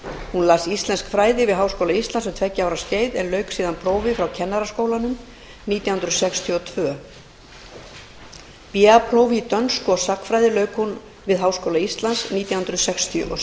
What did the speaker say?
hún las íslensk fræði við háskóla íslands um tveggja ára skeið en lauk síðan prófi frá kennaraskólanum nítján hundruð sextíu og tvö ba prófi í dönsku og sagnfræði lauk hún við háskóla íslands nítján hundruð sextíu og sjö